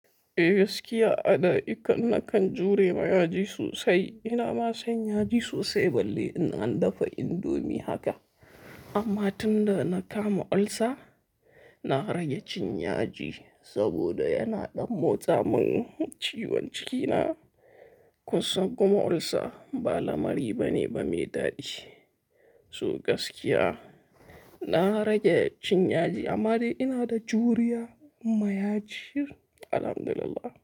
Eh gaskiya, ada ikan nakan jure ma yaji sosai. Ina ma son yaji sosai balle in an dafa indomie haka. Amma tun da na kama olsa, na rage cin yaji saboda yana ɗan motsa min ciwon cikina. Kun san kuma olsa ba lamari bane ba me daɗi. Toh gaskiya na rage cin yaji amma dai ina da juriya ma yaji, Alhamdulillah.